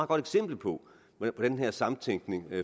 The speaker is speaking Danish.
godt eksempel på hvordan den her samtænkning